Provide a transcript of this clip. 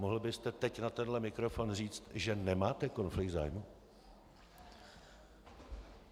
Mohl byste teď na tenhle mikrofon říct, že nemáte konflikt zájmů?